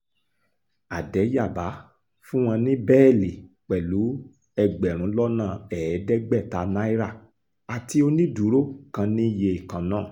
àdẹ́yàbá fún wọn ní bẹ́ẹ́lí pẹ̀lú ẹgbẹ̀rún lọ́nà ẹ̀ẹ́dẹ́gbẹ̀ta náírà àti onídùúró kan ní iye kan náà